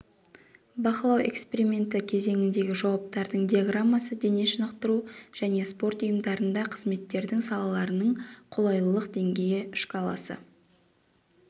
бақылау эксперименті кезеңіндегі жауаптардың диаграммасы дене шынықтыру және спорт ұйымдарында қызметтердің сапаларының қолайлылық деңгейі шкаласы